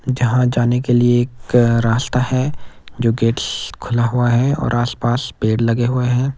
जहां जाने के लिए एक रास्ता है जो गेट्स खुला हुआ है और आसपास पेड़ लगे हुए हैं।